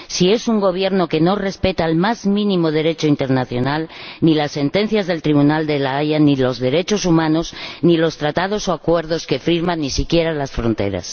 El Gobierno de este país no respeta en lo más mínimo el Derecho internacional, ni las sentencias del Tribunal de La Haya, ni los derechos humanos, ni los tratados o acuerdos que firma, ni siquiera las fronteras.